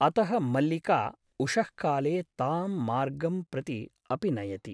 अतः मल्लिका उषःकाले तां मार्गं प्रति अपि नयति ।